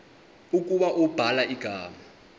ukuba ubhala igama